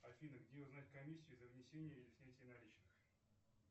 афина где узнать комиссию за внесение или снятие наличных